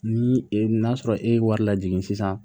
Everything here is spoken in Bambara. Ni e n'a sɔrɔ e ye wari lajigin sisan